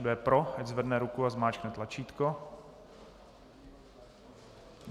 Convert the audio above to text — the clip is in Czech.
Kdo je pro, ať zvedne ruku a zmáčkne tlačítko.